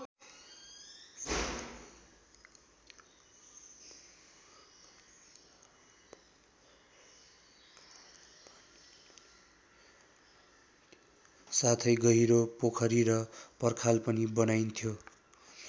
साथै गहिरो पोखरी र पर्खाल पनि बनाइन्थ्यो।